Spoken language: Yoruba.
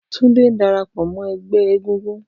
Tunde n darapọ mọ ẹgbẹ egúngún.